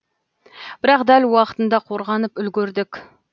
бірақ дәл уақытында қорғанып үлгердік